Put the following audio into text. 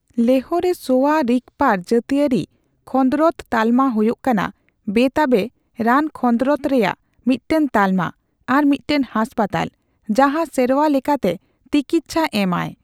ᱞᱮᱦᱚᱼ ᱨᱮ ᱥᱳᱣᱟᱼᱨᱤᱜᱯᱟᱨ ᱡᱟᱛᱤᱭᱟᱹᱨᱤ ᱠᱷᱚᱸᱫᱽᱨᱚᱫᱽ ᱛᱟᱞᱢᱟ ᱦᱳᱭᱳᱭ ᱠᱟᱱᱟ ᱵᱮᱼᱛᱟᱵᱮ ᱨᱟᱱ ᱠᱷᱚᱸᱫᱽᱨᱚᱫᱽ ᱨᱮᱭᱟᱜ ᱢᱤᱫᱴᱟᱝ ᱛᱟᱞᱢᱟ ᱟᱨ ᱢᱤᱫᱴᱟᱝ ᱦᱟᱥᱯᱟᱛᱟᱞ, ᱡᱟᱦᱟᱸ ᱥᱮᱨᱣᱟ ᱞᱮᱠᱟᱛᱮ ᱛᱤᱠᱤᱪᱪᱷᱟ ᱮᱢ ᱟᱭ ᱾